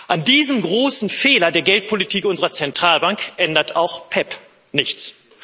An diesem großen Fehler der Geldpolitik unserer Zentralbank ändert auch PEPP nichts.